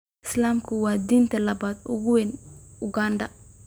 Islaamku waa diinta labaad ee ugu weyn Uganda.